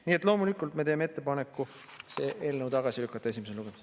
Nii et loomulikult me teeme ettepaneku see eelnõu tagasi lükata esimesel lugemisel.